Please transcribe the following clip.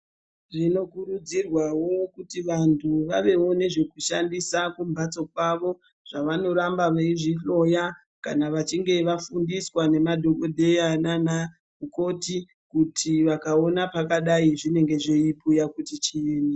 Zvinokurudzirwawo kuti vantu vavevo nezvekushandisa kumhatso kwavo zvavanoramba veizvihloya kana vachinge vafundiswa nemadhokodheya nanamukoti kuti vakaona pakadai zvinenge zveibhuya kuti chii.